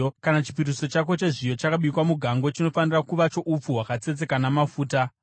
Kana chipiriso chako chezviyo chakabikwa mugango chinofanira kuva choupfu hwakatsetseka namafuta.